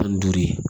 Tan ni duuru ye